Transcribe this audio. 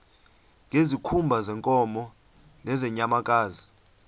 ngezikhumba zeenkomo nezeenyamakazi